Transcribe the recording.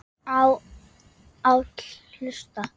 á, áll, hlust